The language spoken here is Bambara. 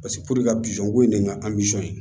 ka bizɔnko in de ŋana